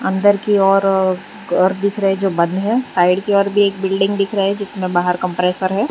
अन्दर की ओर घर दिख रे है जो बंद है साइड की ओर भी एक बिल्डिंग दिख रहा जिसमें बाहर कंप्रेसर है।